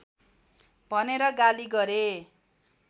भनेर गाली गरे